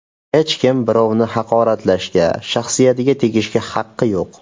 Hech kim birovni haqoratlashga, shaxsiyatiga tegishga haqqi yo‘q.